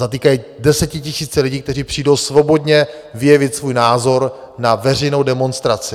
Zatýkají desetitisíce lidí, kteří přijdou svobodně vyjevit svůj názor na veřejnou demonstraci.